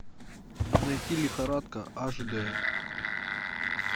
найти лихорадка аш д